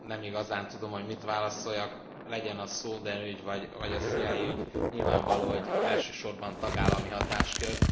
nem igazán tudom, hogy mit válaszoljak, legyen a Snowden ügy vagy a CIA ügy, nyilvánvaló, hogy elsősorban tagállami hatáskör.